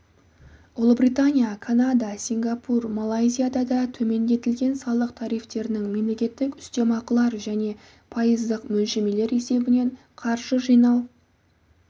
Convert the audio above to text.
ұлыбритания канада сингапур малайзияда да төмендетілген салық тарифтерінің мемлекеттік үстемақылар және пайыздық мөлшемелер есебінен қаржы жинақтау